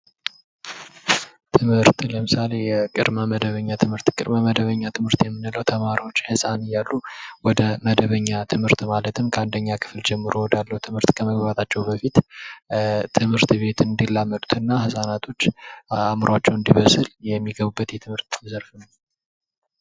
ትምህርት ለምሳሌ ቅድመ መደበኛ ትምህርት ቅድመ መደበኛ ትምህርት የምንለው ተማሪዎች ህፃን እያሉ ወደ መደበኛ ትምህርት ማለትም ከአንደኛ ከፍል ጀምሮ ከመግባታቸው በፊት ትምህርት ቤቱን እንዲላመዱትና ህፃናቶች አዕምሯቸው እንዲበስል የሚገቡበት የትምህርት ዘርፍ ነው።